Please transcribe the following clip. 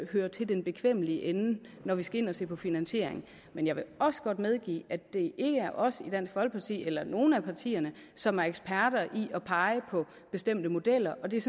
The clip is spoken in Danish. hører til i den bekvemmelige ende når vi skal ind og se på finansiering men jeg vil også godt medgive at det ikke er os i dansk folkeparti eller nogen af partierne som er eksperter i at pege på bestemte modeller og det er